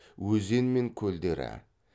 өзен мен көлдері